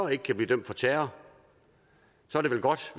ikke kan blive dømt for terror er det vel godt